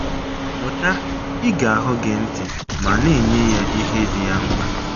Mụta ‘ ige ahụ́ gị ntị ’ ma na - enye ya ihe dị ya mkpa.